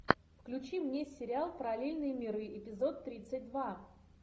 включи мне сериал параллельные миры эпизод тридцать два